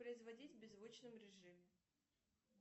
производить в беззвучном режиме